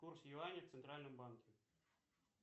курс юаня в центральном банке